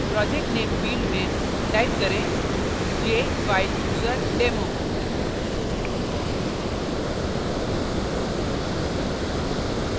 project name field में type करें jfilechooserdemo